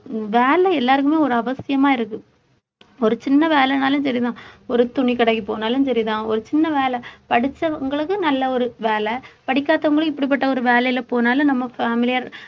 வேலை எல்லாருக்குமே ஒரு அவசியமா இருக்கு ஒரு சின்ன வேலைனாலும் சரிதான் ஒரு துணிக்கடைக்கு போனாலும் சரிதான் ஒரு சின்ன வேலை படிச்சவங்களுக்கும் நல்ல ஒரு வேலை படிக்காதவங்களுக்கும் இப்படிப்பட்ட ஒரு வேலையில போனாலும் நம்ம family ஆ